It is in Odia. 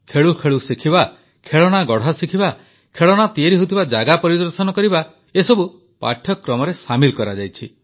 ଖେଳୁ ଖେଳୁ ଶିଖିବା ଖେଳଣା ଗଢ଼ା ଶିଖିବା ଖେଳଣା ତିଆରି ହେଉଥିବା ଜାଗା ପରିଦର୍ଶନ କରିବା ଏ ସବୁକୁ ପାଠ୍ୟକ୍ରମରେ ସାମିଲ କରାଯାଇଛି